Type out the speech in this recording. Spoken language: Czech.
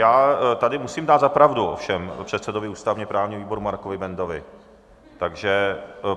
Já tady musím dát za pravdu ovšem předsedovi ústavně-právního výboru Markovi Bendovi, takže...